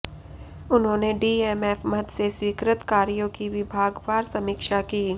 उन्होंने डीएमएफ मद से स्वीकृत कार्यों की विभागवार समीक्षा की